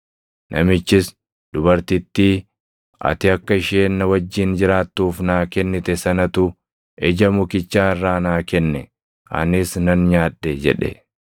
Namichis, “Dubartittii ati akka isheen na wajjin jiraattuuf naa kennite sanatu ija mukichaa irraa naa kenne; anis nan nyaadhe” jedhe.